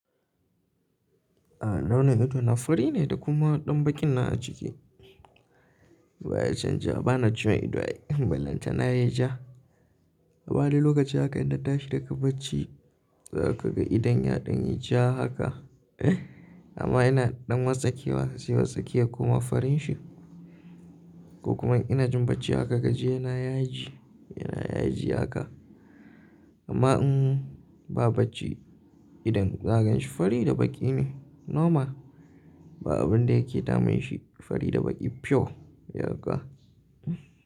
A'a, launin ido na fari ne da kuma ɗan baƙi na a ciki. Ba ya canja, bana jin idon balanta na ya ja. Saboda lokaci haka idan ta shiga bacci za ka ga idon ya ɗan yi ja haka. Amma yana ɗan matsakewa, siyi matsakiya kuma farin shi. Ko kuma ina jin bacci haka gaji yana yaji, yana yaji haka. Amma in ba bacci idon za ka gan shi fari da baƙi ne normal. Ba abun da yake damun shi fari da baƙi pure yanka.